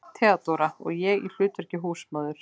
THEODÓRA: Og ég í hlutverki húsmóður.